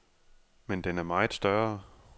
Men den er meget større.